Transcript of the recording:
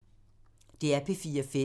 DR P4 Fælles